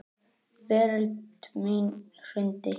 Veröld mín hrundi.